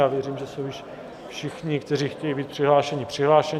Já věřím, že jsou již všichni, kteří chtějí být přihlášeni, přihlášeni.